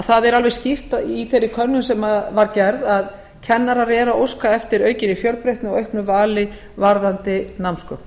það er alveg skýrt í þeirri könnun sem var gerð að kennarar eru að óska eftir aukinni fjölbreytni og auknu vali varðandi námsgögn